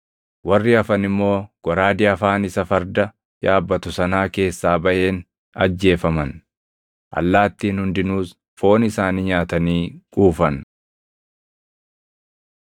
Warri hafan immoo goraadee afaan isa farda yaabbatu sanaa keessaa baʼeen ajjeefaman; allaattiin hundinuus foon isaanii nyaatanii quufan.